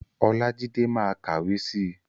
Olájídé ma kàwé si.